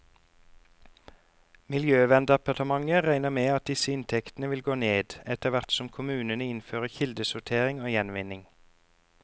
Miljøverndepartementet regner med at disse inntektene vil gå ned, etterhvert som kommunene innfører kildesortering og gjenvinning.